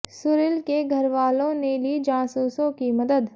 सुरील के घर वालों ने ली जासूसों की मदद